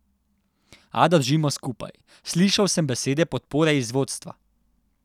A držimo skupaj, slišal sem besede podpore iz vodstva.